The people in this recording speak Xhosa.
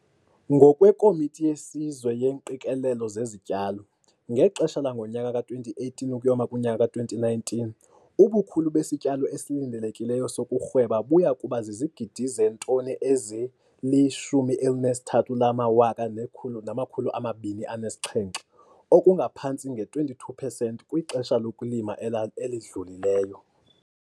NgokweKomiti yeSizwe yeeNgqikelelo zeziTyalo ngexesha langonyaka ka-2018 ukuyoma kunyaka ka-2019, ubukhulu besityalo esilindelekileyo sokurhweba buya kuba zizigidi zeetoni ezili-13,207, oku kungaphantsi nge 22 percent kwixesha lokulima elidlulileyo.